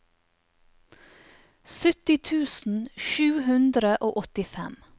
sytti tusen sju hundre og åttifem